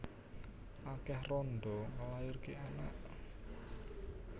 Akeh randha nglairake anak